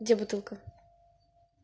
где бутылка